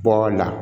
Bɔ la